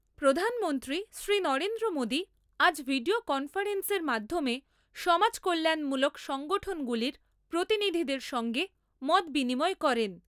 প্রধানমন্ত্রী শ্রী নরেন্দ্র মোদী আজ ভিডিও কনফারেন্সের মাধ্যমে সমাজ কল্যাণমূলক সংঠনগুলির প্রতিনিধিদের সঙ্গে মতবিনিময় করেন।